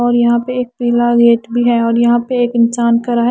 और यहां पे एक पीला गेट भी है और यहां पे एक इंसान खड़ा है।